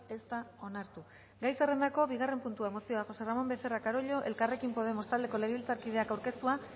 ez da onartu gai zerrendako bigarren puntua mozioa josé ramón becerra carollo elkarrekin podemos taldeko legebiltzarkideak aurkeztua